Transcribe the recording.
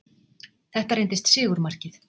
Þetta reyndist sigurmarkið